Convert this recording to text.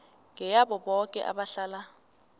ngeyabo boke abahlala